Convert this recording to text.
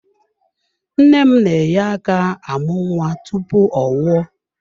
Nne m na-enye aka amụ nwa tupu ọ nwụọ.